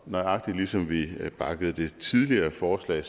nøjagtig ligesom vi bakkede det tidligere forslag i